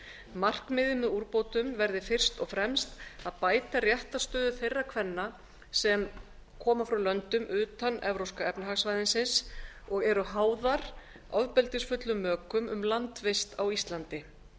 markmiðið með úrbótum verði fyrst og fremst að bæta réttarstöðu þeirra kvenna sem koma frá löndum utan evrópska efnahagssvæðisins og eru háðar ofbeldisfullum mökum um landvist á íslandi